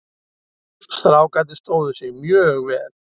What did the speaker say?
Strákarnir stóðu sig mjög vel.